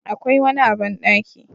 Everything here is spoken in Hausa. Akwai wani a bandaki